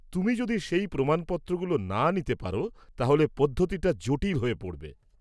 তুমি যদি সেই প্রমাণপত্রগুলো না নিতে পার, তাহলে পদ্ধতিটা জটিল হয়ে পড়বে।